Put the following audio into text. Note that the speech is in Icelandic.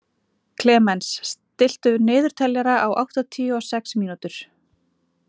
Klemens, stilltu niðurteljara á áttatíu og sex mínútur.